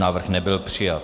Návrh nebyl přijat.